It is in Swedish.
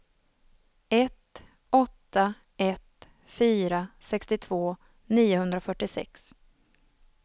ett åtta ett fyra sextiotvå niohundrafyrtiosex